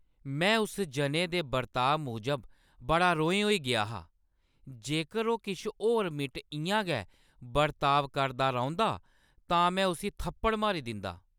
में उस जने दे बर्ताव मूजब बड़ा रोहें होई गेआ हा। जेकर ओह् किश होर मिंट इ'यां गै बर्ताव करदा रौंह्दा तां में उसी थप्पड़ मारी दिंदा।